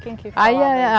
Quem que falou?